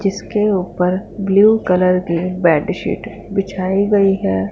जीसके ऊपर blue colour की बेडशीट बिछाई गई है।